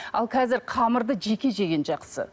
ал қазір қамырды жеке жеген жақсы